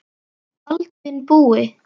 Baldvin Búi.